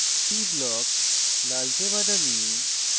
p block – লালচে বাদামী